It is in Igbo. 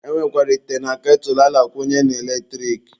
E nwekwara ite na ketụlụ a na-akwunye n'eletrik.